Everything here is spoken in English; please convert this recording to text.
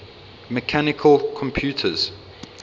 mechanical computers